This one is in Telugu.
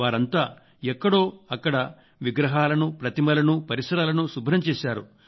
వారంతా ఎక్కడో అక్కడ విగ్రహాలను ప్రతిమలను పరిసరాలను శుభ్రం చేశారు